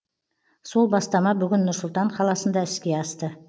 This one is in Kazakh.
сол бастама бүгін нұр сұлтан қаласында іске асты